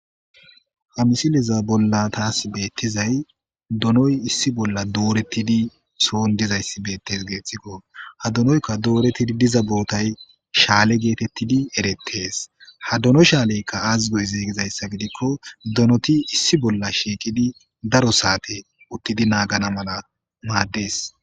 hamisileza bolla taas beettizay donoy issi bolla doorettidi soon dizayssi beettes geeththikko ha donoykka doorettidi diza bootay shaale geetettidi erettees ha dono shaaleykka aazigoy zeeygizayssa gidikko donoti issi bolla shiiqidi daro saate uttidi naagana mala maaddees